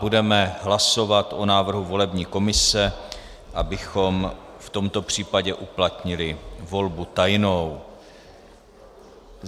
Budeme hlasovat o návrhu volební komise, abychom v tomto případě uplatnili volbu tajnou.